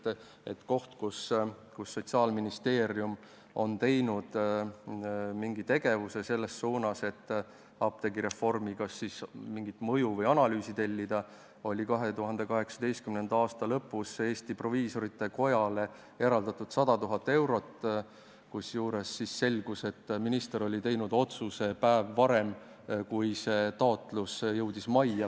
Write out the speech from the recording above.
Ainuke kord, kui Sotsiaalministeerium on teinud midagigi selles suunas, et apteegireformi kohta mingit analüüsi tellida, oli see, kui 2018. aasta lõpus eraldati Eesti Proviisorite Kojale 100 000 eurot, kusjuures selgus, et minister oli teinud raha eraldamise otsuse päev varem, kui taotlus majja jõudis.